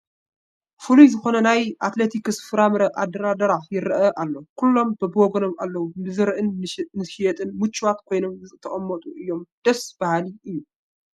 ፍሉይ ዝኾነ ናይ ኣትክልቲትን ፍራምረን ኣደራድራ ይርአ ኣሎ፡፡ ኩሎም በብወገኖም ኣለዉ፡፡ ንዝርእን ንዝሸይጥን ምቹዋት ኮይኖም ዝተቐመጡ እዮም፡፡ ደስ በሃሊ እዩ፡፡